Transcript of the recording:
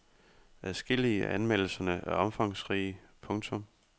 Adskillige af anmeldelserne er omfangsrige. punktum